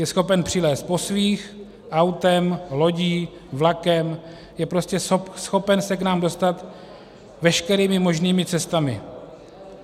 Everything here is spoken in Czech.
Je schopen přilézt po svých, autem, lodí, vlakem, je prostě schopen se k nám dostat veškerými možnými cestami.